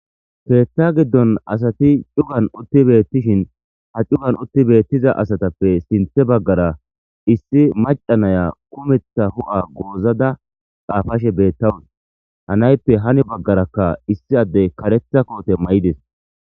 Keetta giddon asati cugan utti beettishin ha cugan utti beettiza asatappe sinthe baggara issi maca naya kumetha hu7a goozada xaafashe beettawus hanayppe hani baggarakka issi addey karetha koote may7ides